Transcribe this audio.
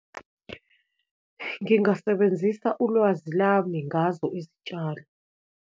Ngingasebenzisa ulwazi lami ngazo izitshalo.